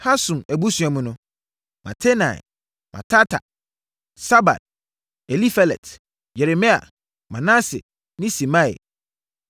Hasum abusua mu no: Matenai, Matata, Sabad, Elifelet, Yeremai, Manase ne Simei.